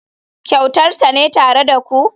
Kyautar tana tare da ku.